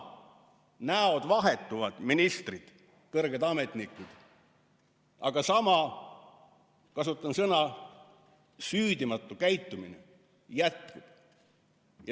Näod vahetuvad, ministrid ja kõrged ametnikud, aga sama süüdimatu käitumine jätkub.